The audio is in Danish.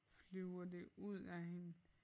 Flyver det ud af hende